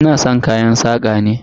Ina san kayan saƙa ne.